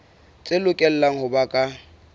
tse lokelang ho ba ka